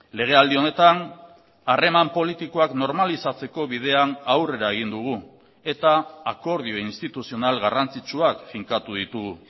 legealdi honetan harreman politikoak normalizatzeko bidean aurrera egin dugu eta akordio instituzional garrantzitsuak finkatu ditugu